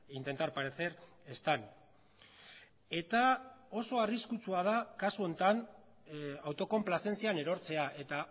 intentar parecer están eta oso arriskutsua da kasu honetan autokonplazentzian erortzea eta